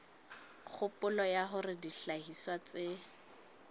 kgopolo ya hore dihlahiswa tse